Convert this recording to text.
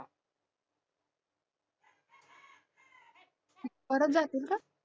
परत जातील का?